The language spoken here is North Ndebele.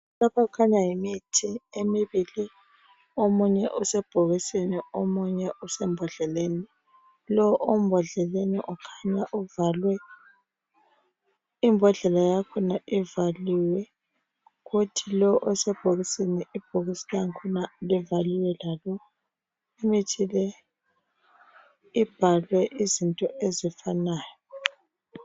Lokhu kukhanya yimithi emibili omunye usebhokisini omunye usembodleleni. Lo osembodleleni ukhanya uvaliwe, imbodlela yakhona ivaliwe kuthi lowu osebhokisini ibhokisi lakhona livaliwe lalo. Imithi le ibhalwe izinto ezifanayo.